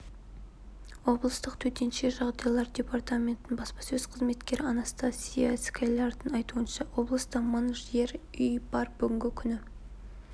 облыстық төтенше жағдайлар департаментінің баспасөз қызметкері анастасия склярдың айтуынша облыста мың жер үй бар бүгінгі күні